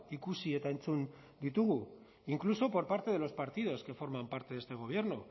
ikusi eta entzun ditugu incluso por parte de los partidos que forman parte de este gobierno